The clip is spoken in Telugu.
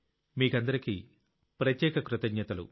మీకందరికీ ప్రత్యేక కృతజ్ఞతలు